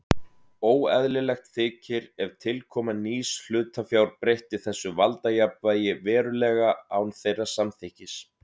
Óeðlilegt þykir ef tilkoma nýs hlutafjár breytti þessu valdajafnvægi verulega án þeirra samþykkis.